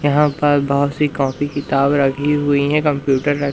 यहाँ पर बहोत सी कॉपी किताब रखीं हुई हैं कंप्यूटर र--